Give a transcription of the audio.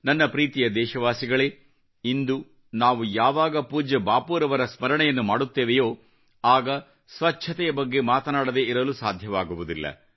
ನನ್ನ ಪ್ರೀತಿಯ ದೇಶವಾಸಿಗಳೇ ಇಂದು ನಾವು ಯಾವಾಗ ಪೂಜ್ಯ ಬಾಪೂರವರ ಸ್ಮರಣೆಯನ್ನು ಮಾಡುತ್ತೇವೆಯೋ ಆಗ ಸ್ವಚ್ಚತೆಯ ಬಗ್ಗೆ ಮಾತನಾಡದೇ ಇರಲು ಸಾಧ್ಯವಾಗುವುದಿಲ್ಲ